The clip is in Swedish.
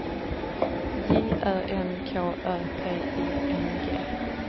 J Ö N K Ö P I N G